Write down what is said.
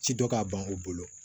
Ci dɔ ka ban u bolo